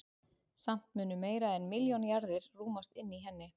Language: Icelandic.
Samt mundu meira en milljón jarðir rúmast inni í henni.